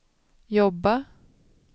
jobba